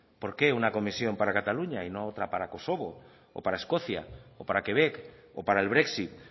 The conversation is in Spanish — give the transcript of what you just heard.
por qué una comisión para cataluña y no otra para kosovo o para escocia o para quebec o para el brexit